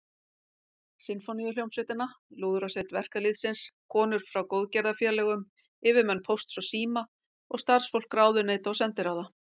Sinfóníuhljómsveitina, Lúðrasveit verkalýðsins, konur frá góðgerðarfélögum, yfirmenn Pósts og síma og starfsfólk ráðuneyta og sendiráða.